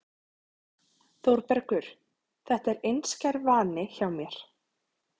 ÞÓRBERGUR: Þetta er einskær vani hjá mér.